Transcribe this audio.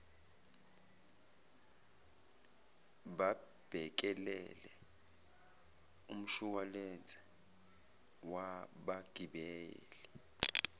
babhekelele umshuwalense wabagibeli